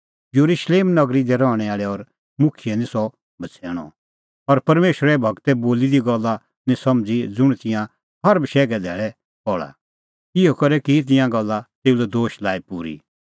येरुशलेम नगरी दी रहणैं आल़ै और मुखियै निं सह बछ़ैणअ और परमेशरे गूरै बोली दी गल्ला निं समझ़ी ज़ुंण तिंयां हर बशैघे धैल़ै पहल़ा इहअ करै की तिंयां गल्ला तेऊ लै दोश लाई पूरी